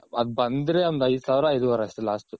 ಅದ್ ಬಂದ್ರೆ ಒಂದ್ ಐದ ಸಾವ್ರ ಐದು ವರೆ ಅಷ್ಟೆ last ಉ